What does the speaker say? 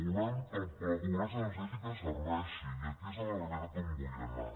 volem que la pobresa energètica serveixi i aquí és la realitat on vull anar